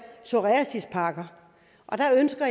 psoriasispakker